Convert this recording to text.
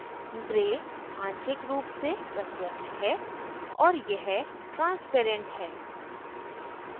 gray आंशिक रूप से प्रत्यक्ष है और यह transparent है